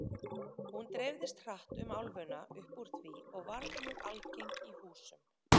Hún dreifðist hratt um álfuna upp úr því og varð mjög algeng í húsum.